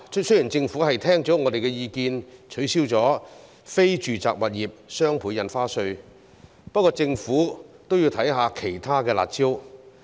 雖然政府已聽取我們的意見，取消非住宅物業雙倍印花稅，但政府也要考慮一下其他"辣招"。